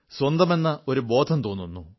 സ്വന്തമെന്ന ഒരു ബോധം തോന്നുന്നു